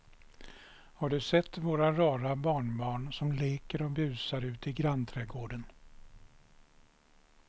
Har du sett våra rara barnbarn som leker och busar ute i grannträdgården!